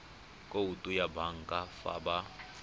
khoutu ya banka fa ba